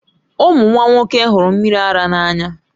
Ụmụ nwa nwoke hụrụ mmiri ara n'anya